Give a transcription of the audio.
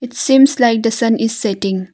It seems like the sun is setting.